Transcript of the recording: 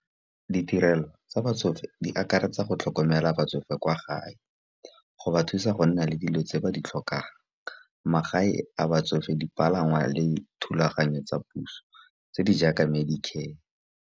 Ditirelo tsa batsofe di akaretsa go tlhokomela batsofe kwa gae go ba thusa go nna le dilo tse ba di tlhokang. Magae a batsofe, dipalangwa le thulaganyo tsa puso tse di jaaka medicare.